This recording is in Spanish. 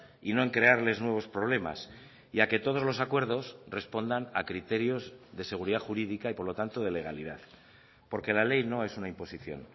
y no en crearles nuevos problemas y a que todos los acuerdos respondan a criterios de seguridad jurídica y por lo tanto de legalidad porque la ley no es una imposición